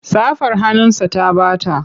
Safar hannunsa ta ɓata.